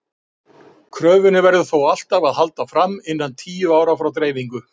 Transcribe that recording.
Kröfunni verður þó alltaf að halda fram innan tíu ára frá dreifingu.